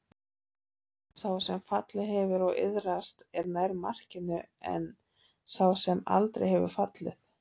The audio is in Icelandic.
Sá sem fallið hefur og iðrast er nær markinu en sá sem aldrei hefur fallið.